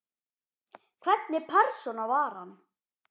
Hvernig persóna var hann?